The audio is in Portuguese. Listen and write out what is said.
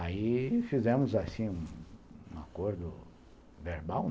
Aí fizemos um acordo verbal.